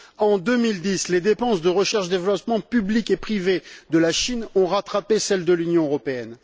En 2010, les dépenses de recherche et de développement publiques et privées de la Chine ont rattrapé celles de l'Union européenne.